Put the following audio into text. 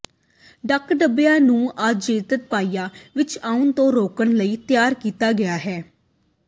ਡੰਕ ਡੱਬਿਆਂ ਨੂੰ ਆਬਜੈਕਟ ਪਾਈਪਾਂ ਵਿਚ ਆਉਣ ਤੋਂ ਰੋਕਣ ਲਈ ਤਿਆਰ ਕੀਤਾ ਗਿਆ ਹੈ